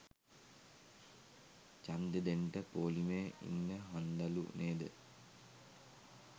ජන්දේ දෙන්ට පෝලිමේ ඉන්න හන්දලු නේද?